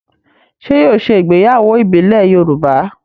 Ṣé yóò ṣe ìgbéyàwó ìbílẹ̀ Yorùbá?